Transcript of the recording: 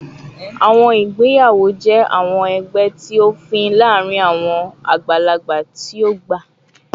Awọn igbeyawo jẹ awọn ẹgbẹ ti ofin laarin awọn agbalagba ti o gba